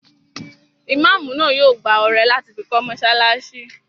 Imáamù náà yóò gbá ọrẹ láti fi kọ́ mọ́sálásí